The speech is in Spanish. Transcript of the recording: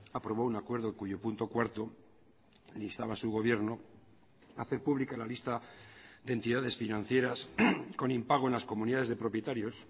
aprobó un acuerdo cuyo punto cuarto le instaba a su gobierno a hacer pública la lista de entidades financieras con impago en las comunidades de propietarios